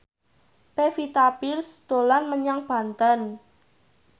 Pevita Pearce dolan menyang Banten